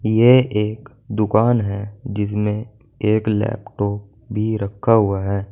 यह एक दुकान है जिसमें एक लैपटॉप भी रखा हुआ है।